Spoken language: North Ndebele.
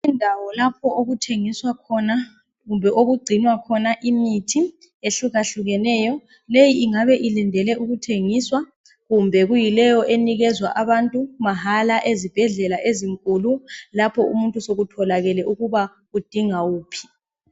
Indawo lapho okuthengiswa khona kumbe okugcinwa khona imithi ehlukahlukeneyo .Leyi ingabe ilindele ukuthengiswa kumbe kuyileyo enikezwa abantu mahala ezibhedlela ezinkulu lapho umuntu sokutholakele ukuba udinga ukuphila .